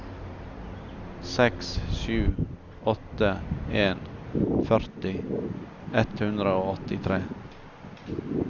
seks sju åtte en førti ett hundre og åttitre